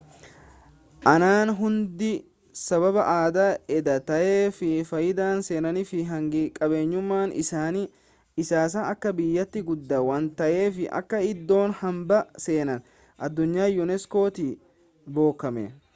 aanaan hundinuu sababa aadaa adda ta'ee fi faayidaa seenaa fi hangi qabeenyumma isaas akka biyyaatti guddaa waan ta'eef akka iddoo hambaa seenaa addunyaa unesco tii bocame